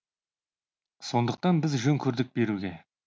сондықтан біз жөн көрдік беруге